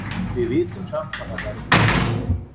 Við vitum samt að það verður erfitt.